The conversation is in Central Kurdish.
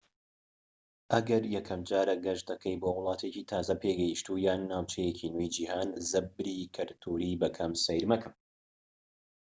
ئەگەر یەکەمجارە گەشت دەکەیت بۆ وڵاتێکی تازە پێگەشتوو یان ناوچەیەکی نوێی جیهان زەبری کەلتوریی بە کەم سەیر مەکە